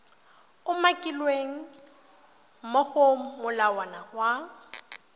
umakilweng mo go molawana wa